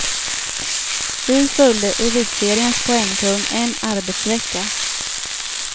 Vi följde elitseriens poängkung en arbetsvecka.